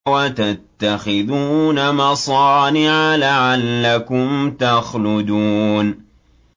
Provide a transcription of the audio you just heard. وَتَتَّخِذُونَ مَصَانِعَ لَعَلَّكُمْ تَخْلُدُونَ